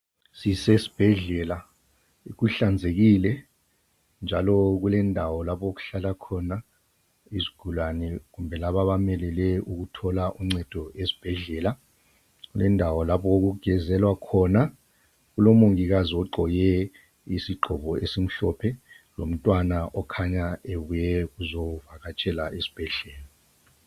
Sisesbhedlela, kuhlanzekile, njalo kulendawo lapho okuhlala khona izigulane, labo abamelele ukuthola uncedo esibhedlela. Lendawo lapho okugezelwa khona, kulomongikazi ogqoke isigqoko esimhlophe lomntwana okhanya ebuye ukuzovakatshela esibhedlela.